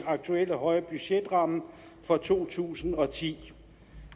aktuelle høje budgetramme for to tusind og ti